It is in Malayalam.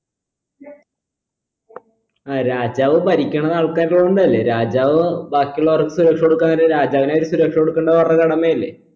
ആ രാജാവ് ഭരിക്കണത് ആൾകാരില്ലോണ്ടല്ലേ രാജാവ് ബാക്കിയുള്ളോർക്ക് സുരക്ഷ കൊടുക്കാന്നുണ്ടെ രാജാവിന് ആര് സുരക്ഷ കൊണ്ടുക്കണ്ടത് അവരുടെ കടമ അല്ലെ